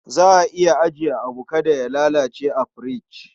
Za a iya ajiyar abu kada ya lalace a firich.